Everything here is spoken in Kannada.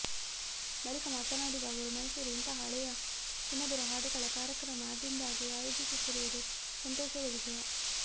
ಬಳಿಕ ಮಾತನಾಡಿದ ಅವರು ಮೈಸೂರು ಇಂತಹ ಹಳೆಯ ಸುಮಧುರ ಹಾಡುಗಳ ಕಾರ್ಯಕ್ರಮ ಆಗಿಂದಾಗ್ಗೆ ಆಯೋಜಿಸುತ್ತಿರುವುದು ಸಂತೋಷದ ವಿಷಯ